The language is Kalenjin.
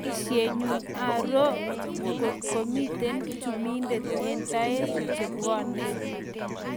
Boisyet nyuu aroo ngotko mitei chumindet eng taek chebwoney